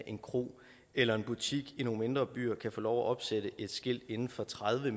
en kro eller en butik i nogle mindre byer kan få lov at opsætte et skilt inden for tredive